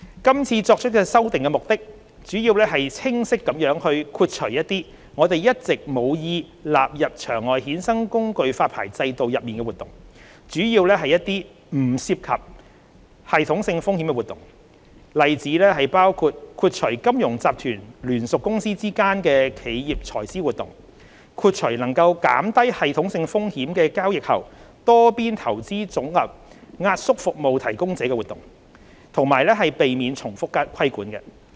今次作出修訂的目的主要是清晰地豁除一些我們一直無意納入場外衍生工具發牌制度內的活動，主要是一些不涉及系統性風險的活動，例子包括：豁除金融集團聯屬公司之間的企業財資活動，豁除能減低系統性風險的交易後多邊投資組合壓縮服務提供者的活動，以及避免重複規管。